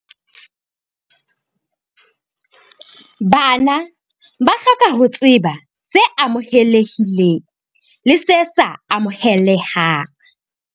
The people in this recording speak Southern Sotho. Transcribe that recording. Bana ba hloka ho tseba se amohelehileng le se sa amohelehang.